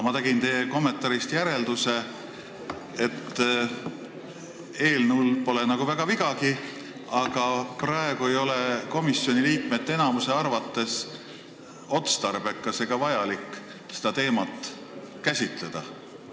Ma tegin teie kommentaarist järelduse, et eelnõul pole nagu väga vigagi, aga praegu ei ole komisjoni liikmete enamuse arvates otstarbekas ega vajalik seda teemat käsitleda.